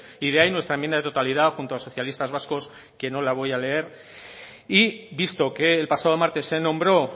y de ahí nuestra enmienda de totalidad junto a socialistas vascos que no la voy a leer y visto que el pasado martes se nombró